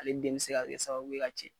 Ale den bɛ se ka kɛ sababu ye ka cɛ.